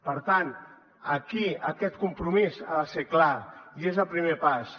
per tant aquí aquest compromís ha de ser clar i és el primer pas